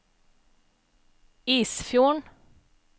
Isfjorden